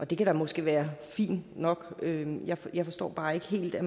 det kan da måske være fint nok men jeg jeg forstår bare ikke helt at